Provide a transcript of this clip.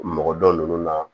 Mɔgɔ dɔ ninnu na